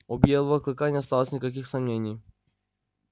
у белого клыка не осталось никаких сомнений